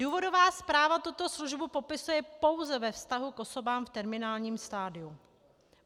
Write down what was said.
Důvodová zpráva tuto službu popisuje pouze ve vztahu k osobám v terminálním stadiu.